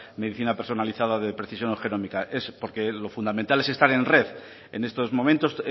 medicina personalizada de precisión porque lo fundamental es estar en red en estos momentos